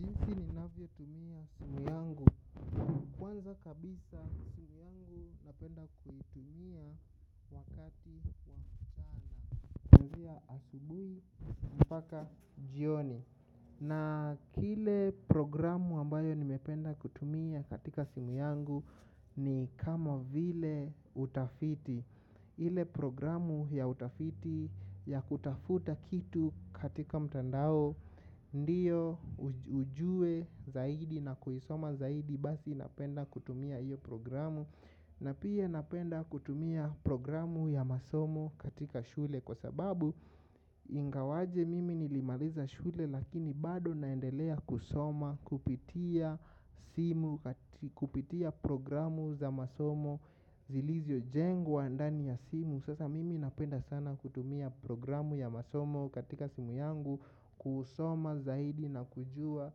Jinsi ninavyotumia simu yangu. Kwanza kabisa simu yangu napenda kutumia. Wakati kutumia asubui mpaka jioni. Na kile programu ambayo nimependa kutumia katika simu yangu. Ni kama vile utafiti. Ile programu ya utafiti ya kutafuta kitu katika mtandao ndio ujue zaidi na kuisoma zaidi basi napenda kutumia io programu na pia napenda kutumia programu ya masomo katika shule kwasababu ingawaje mi zilivyojengwa ndani ya simu sasa mimi napenda sana kutumia programu ya masomo yangu. Kwanza kabisa simu yangu napenda kutumia.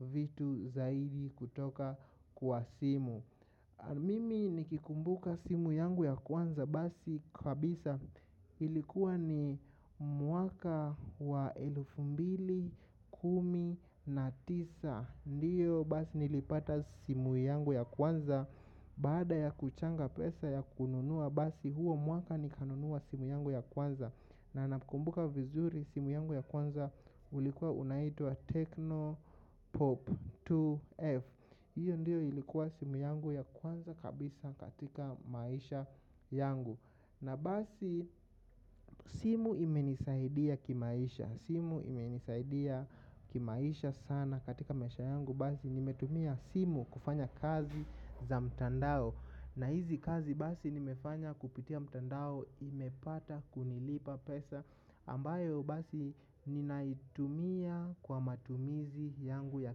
Wakati kutumia asibuli mpaka jioni. Mimi nikikumbuka simu yangu ya kwanza basi kabisa ilikuwa ni mwaka wa elfu mbili kumi na tisa ndiyo basi nilipata simu yangu ya kwanza. Baada ya kuchanga pesa ya kununua basi huo mwaka ni kanunua simu yangu ya kwanza. Na nakumbuka vizuri simu yangu ya kwanza ulikuwa unaitwa Techno Pop 2F. Hiyo ndiyo ilikuwa simu yangu ya kwanza kabisa katika maisha yangu. Na basi simu imenisaidia kimaisha. Simu imenisaidia kimaisha sana katika maisha yangu. Basi nimetumia simu kufanya kazi za mtandao. Na hizi kazi basi nimefanya kupitia mtandao imepata kunilipa pesa ambayo basi ninaitumia kwa matumizi yangu ya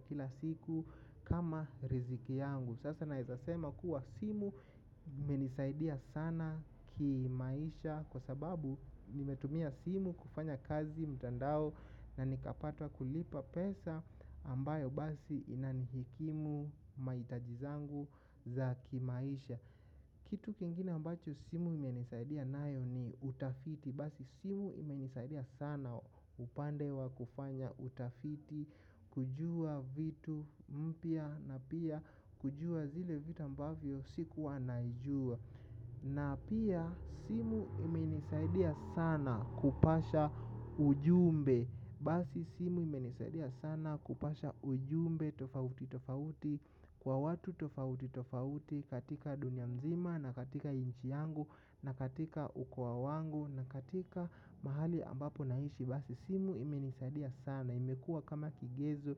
kila siku kama riziki yangu. Sasa naezasema kuwa simu imenisaidia sana kimaisha kwa sababu nimetumia simu kufanya kazi mtandao na nikapata kulipa pesa ambayo basi inanihikimu maitajizangu za kimaisha. Kitu kingine ambacho simu imenisaidia nayo ni utafiti. Basi simu imenisaidia sana upande wa kufanya utafiti. Kujua vitu mpya na pia kujua zile vitu ambavyo sikuwa najua. Na pia simu imenisaidia sana kupasha ujumbe. Basi simu imenisaidia sana kupasha ujumbe tofauti tofauti. Kwa watu tofauti tofauti katika dunia mzima na katika nchi yangu na katika ukoa wangu na katika mahali ambapo naishi. Basi simu imenisaidia sana imekua kama kijezo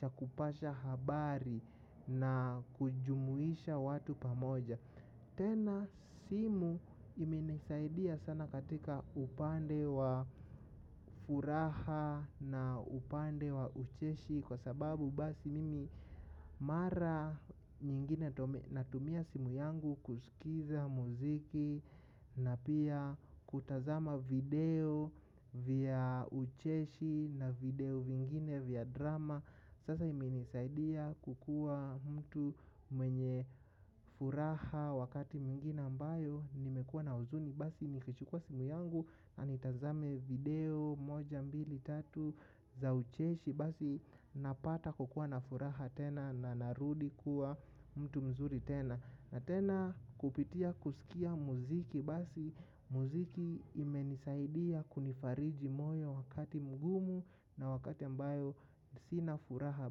chakupasha habari na kujumuisha watu pamoja. Tena simu imenisaidia sana katika upande wa furaha na upande wa ucheshi kwa sababu basi mimi mara nyingine natumia simu yangu kusikiza muziki na pia kutazama video vya ucheshi na video vingine vya drama sasa imenisaidia kukuwa mtu mwenye furaha wakati mwingine ambayo nimekua na huzuni. Basi nikichukua simu yangu anitazame video moja mbili tatu za ucheshi. Basi napata kukua na furaha tena na narudi kuwa mtu mzuri tena. Na tena kupitia kusikia muziki basi muziki imenisaidia kunifariji moyo wakati mgumu. Na wakati ambayo sinafuraha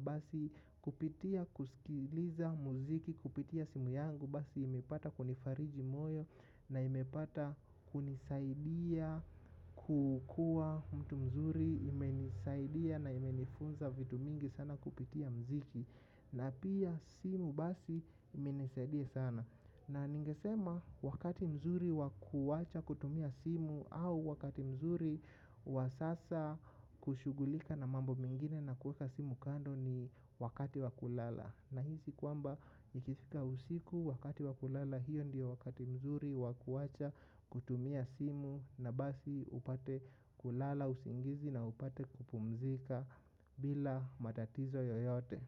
basi kupitia kusikiliza muziki kupitia simu yangu basi imepata kunifariji moyo na imepata kunisaidia kukua mtu mzuri imenisaidia na imenifunza vitu mingi sana kupitia mziki. Na pia simu basi imenisadia sana. Na ningesema wakati mzuri wakuwacha kutumia simu au wakati mzuri wasasa kushugulika na mambo mingine na kueka simu kando ni wakati wakulala. Na hisi kwamba nikifika usiku wakati wakulala hiyo ndiyo wakati mzuri wakuwacha kutumia simu na basi upate kulala usingizi na upate kupumzika bila matatizo yoyote.